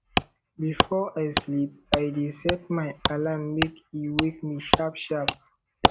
before i sleep i dey set my alarm make e wake me sharpsharp